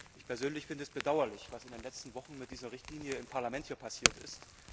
Ich finde es bedauerlich, was in den letzten Wochen mit dieser Richtlinie hier im Parlament passiert ist.